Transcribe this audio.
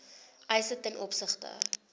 eise ten opsigte